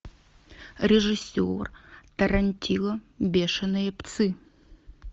режиссер тарантино бешеные псы